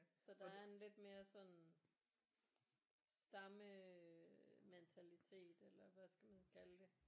Så der er en lidt mere sådan stammementalitet eller hvad skal man kalde det